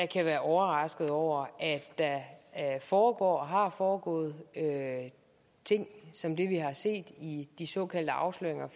kan være overrasket over at der foregår og har foregået ting som dem vi har set i de såkaldte afsløringer